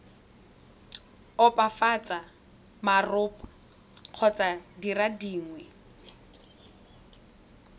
opafatsa marapo kgotsa dire dingwe